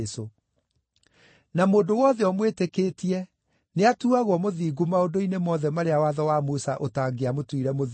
Na mũndũ wothe ũmwĩtĩkĩtie nĩatuuagwo mũthingu maũndũ-inĩ mothe marĩa watho wa Musa ũtangĩamũtuire mũthingu.